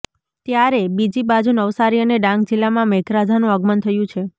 ત્યારે બીજી બાજુ નવાસારી અને ડાંગ જિલ્લામાં મેઘરાજાનું આગમન થયું છે